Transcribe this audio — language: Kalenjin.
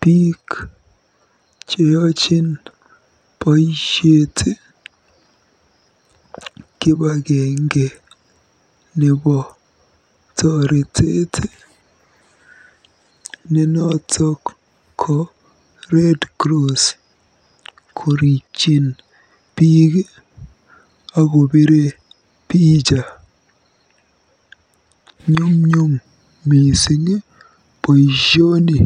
biik cheochin boisiet kibagenge nebo toretet ne noto ko Red Cross korikyin biik akobire picha. Nyumnyum mising boisioni.